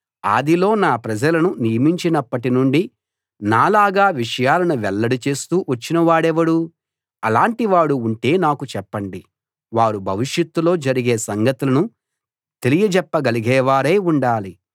ఆదిలో నా ప్రజలను నియమించినప్పటి నుండి నాలాగా విషయాలను వెల్లడి చేస్తూ వచ్చిన వాడెవడు అలాంటివాడు ఉంటే నాకు చెప్పండి వారు భవిష్యత్తులో జరిగే సంగతులను తెలియజెప్ప గలిగేవారై ఉండాలి